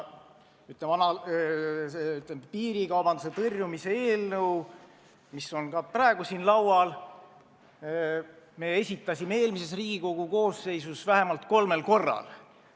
Selle nn piirikaubanduse tõrjumise eelnõu, mis on ka praegu siin laudadel, me esitasime eelmises Riigikogu koosseisus vähemalt kolmel korral.